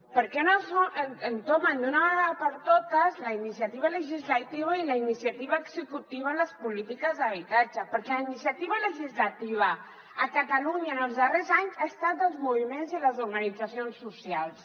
per què no entomen d’una vegada per totes la iniciativa legislativa i la iniciativa executiva en les polítiques d’habitatge perquè la iniciativa legislativa a catalunya en els darrers anys ha estat dels moviments i les organitzacions socials